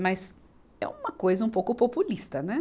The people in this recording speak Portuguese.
Mas é uma coisa um pouco populista, né?